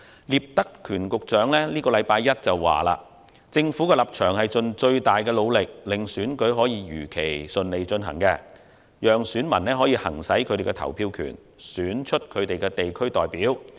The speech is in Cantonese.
聶德權局長在本周一指出，政府的立場是盡最大努力令選舉如期順利舉行，讓選民行使他們的投票權，選出他們的地區代表。